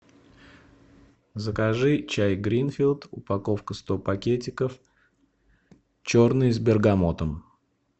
закажи чай гринфилд упаковка сто пакетиков черный с бергамотом